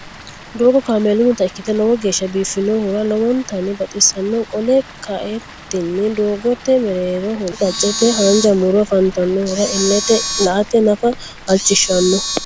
doogo kameelunnita ikitte lowo geesha biifinohura lowontanni baxisanno qolle ka'eenitinni doogote mereerehona qacce qaccete haanja muro afantannohura ilete la'ate nafa halichishanno.